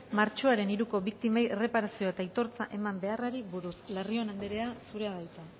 martxoaren hiruko biktimei erreparazioa eta aitortza eman beharrari buruz larrion anderea zurea da hitza